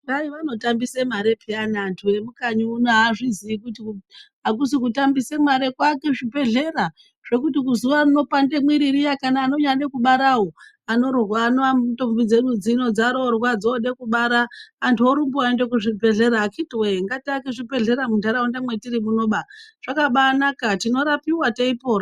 Kwai vatotambise mari peyani vanhu vemukanyi muno avazviziyi kuti akusi kutambise mare kuake zvibhedhlera zvekuti zuwa nerinopande mwiri riya kana nevanonyada kubaravo, ndombi dzedu dzinenge dzaroorwa dzooda kubara, antu anorumba oende kuzvibhedhlera. Akhiti woye ngatiake zvibhedhlera munharaunda mwetiri munoba, zvakabaanaka, tinorapiwa teipona.